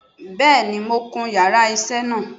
Bẹ́ẹ̀ni mo kun yàrá isé náà